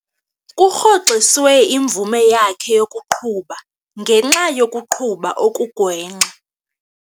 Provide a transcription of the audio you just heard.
Kurhoxiswe imvume yakhe yokuqhuba ngenxa yokuqhuba okugwenxa.